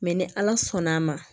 Mɛ ni ala sɔnn'a ma